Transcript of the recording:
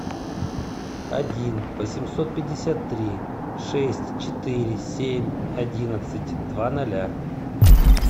один восемьсот пятьдесят три шесть четыре семь одиннадцать два ноля